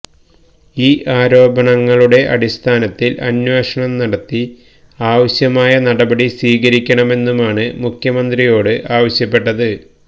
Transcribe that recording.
ഈ ആരോപണങ്ങളുടെ അടിസ്ഥാനത്തിൽ അന്വേഷണം നടത്തി ആവശ്യമായ നടപി സ്വീകരിക്കണമെന്നുമാണ് മുഖ്യമന്ത്രിയോട് ആവശ്യപ്പെട്ടത്